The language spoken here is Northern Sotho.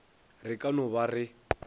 re ka no ba re